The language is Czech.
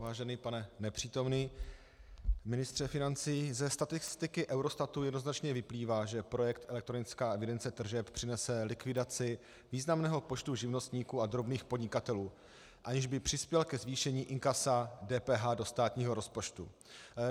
Vážený pane nepřítomný ministře financí, ze statistiky Eurostatu jednoznačně vyplývá, že projekt elektronická evidence tržeb přinese likvidaci významného počtu živnostníků a drobných podnikatelů, aniž by přispěl ke zvýšení inkasa DPH do státního rozpočtu.